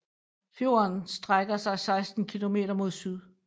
Fjorden strækker sig 16 km mod syd